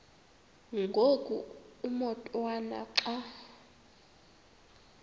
ngoku umotwana xa